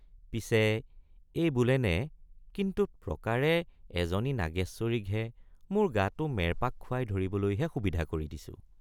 পিছে এই বোলেনে কিন্তুত প্ৰকাৰে এজনী নাগেশ্বৰীক হে মোৰ গাটো মেৰপাক খুৱাই ধৰিবলৈহে সুবিধা কৰি দিছো।